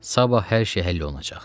Sabah hər şey həll olunacaq.